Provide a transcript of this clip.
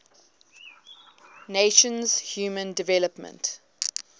nations human development